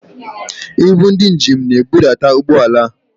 Ibu ndị njem na-ebutu ụgbọala a.